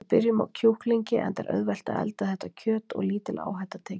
Við byrjum á kjúklingi enda er auðvelt að elda þetta kjöt og lítil áhætta tekin.